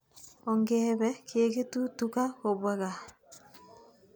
Ongepe keketu tuka kopwa kaa.